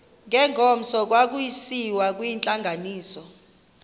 ngengomso kwakusiyiwa kwintlanganiso